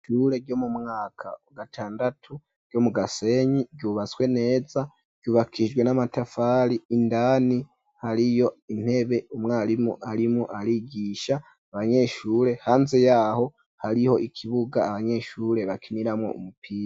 Ishure ryo mu mwaka wa gatandatu ryo mu Gasenyi ryubatswe neza ryubakijwe n'amatafari indani hariyo intebe umwarimurimu arigisha abanyeshure hanze yaho hariho ikibuga abanyeshure bakiniramqwo umupira.